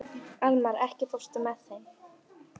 Almar, ekki fórstu með þeim?